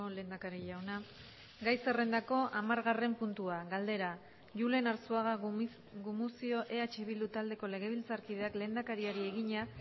lehendakari jauna gai zerrendako hamargarren puntua galdera julen arzuaga gumuzio eh bildu taldeko legebiltzarkideak lehendakariari egina